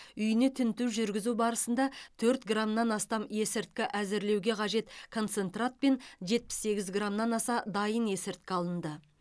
үйіне тінту жүргізу барысында төрт граммнан астам есірткі әзірлеуге қажет концентрат пен жетпіс сегіз граммнан аса дайын есірткі алынды